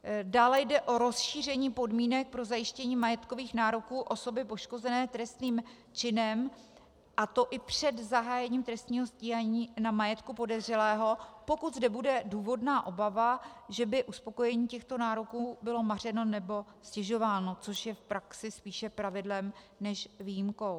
Dále jde o rozšíření podmínek pro zajištění majetkových nároků osoby poškozené trestným činem, a to i před zahájením trestního stíhání, na majetku podezřelého, pokud zde bude důvodná obava, že by uspokojení těchto nároků bylo mařeno nebo ztěžováno, což je v praxi spíše pravidlem než výjimkou.